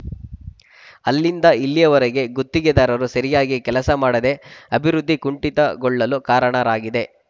ಅಲ್ಲಿಂದ ಇಲ್ಲಿಯವರೆಗೆ ಗುತ್ತಿಗೆದಾರರು ಸರಿಯಾಗಿ ಕೆಲಸ ಮಾಡದೇ ಅಭಿವೃದ್ಧಿ ಕುಂಠಿತಗೊಳ್ಳಲು ಕಾರಣರಾಗಿದೆ